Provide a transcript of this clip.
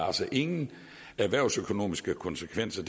altså ingen erhvervsøkonomiske konsekvenser